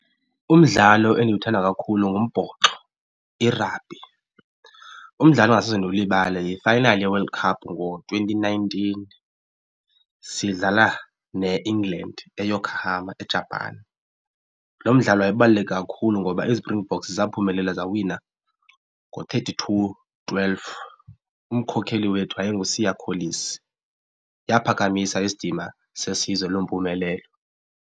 Umdlalo endiwuthanda kakhulu ngumbhoxo i-rugby. Umdlalo ongasoze ndiwulibale yi-final yeWorld Cup ngo-twenty nineteen sidlala neEngland eYokohama eJapan. Loo mdlalo wawubaluleke kakhulu ngoba iSpringboks zaphumelela zawina ngo-thirty two twelve. Umkhokeli wethu yayinguSiya Kolisi. Yaphakamisa isidima sesizwe loo mpumelelo.